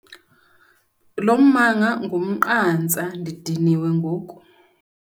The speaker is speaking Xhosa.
Lo mmango ngumnqantsa , ndidiniwe ngoku.